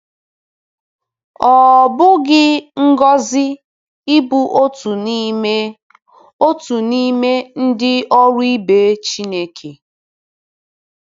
Ọ̀ bụghị ngọzi ịbụ otu n’ime otu n’ime “ndị ọrụ ibe Chineke”?